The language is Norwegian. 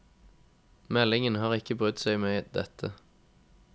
Meldinga har ikkje brydd seg med dette.